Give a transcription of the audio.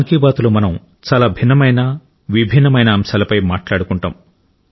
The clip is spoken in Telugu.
మన్ కీ బాత్లో మనం చాలా భిన్నమైన విభిన్న అంశాలపై మాట్లాడుకుంటాం